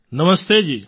નમસ્તે જી